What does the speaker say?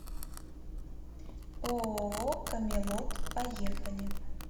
ооо камелот поехали